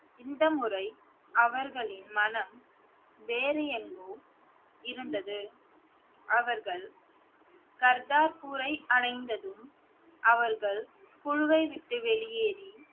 இந்த முறை அவர்களின் மனம் வேறு எங்கோ இருந்தது அவர்கள் கர்த்தாபூரை அடைந்ததும் அவர்கள் குழுவை விட்டு வெளியேறி